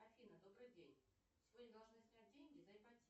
афина добрый день сегодня должны снять деньги за ипотеку